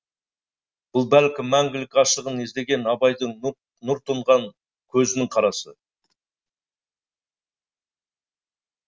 бұл бәлкім мәңгілік ғашығын іздеген абайдың нұр тұнған көзінің қарасы